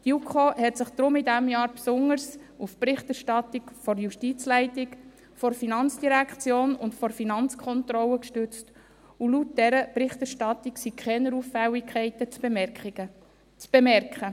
Die JuKo stützte sich deswegen in diesem Jahr besonders auf die Berichterstattung der Justizleitung, der FIN und der Finanzkontrolle, und laut dieser Berichterstattung sind keine Auffälligkeiten zu bemerken.